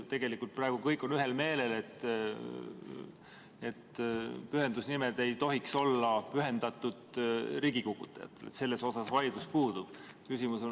Tegelikult on praegu kõik ühel meelel, et pühendusnimed ei tohiks olla riigikukutajate nimed, selles vaidlus puudub.